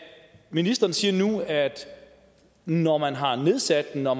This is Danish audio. ministeren siger nu at når man har nedsat den og